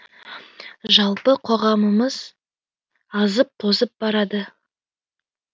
жалпы қоғамымыз азып тозып барады